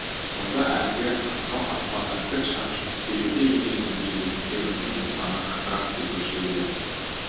сонда әлгі асау аспанға тік шапшып сүйрете жөнелгенде етіктеріміздің ұлтаны қақырап кетуші еді